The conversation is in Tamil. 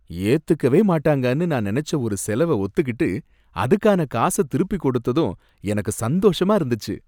ஏத்துக்கவேமாட்டாங்கனு நான் நினைச்ச ஒரு செலவ ஒத்துக்கிட்டு, அதுக்கான காசை திருப்பி கொடுத்ததும் எனக்கு சந்தோஷமா இருந்துச்சு.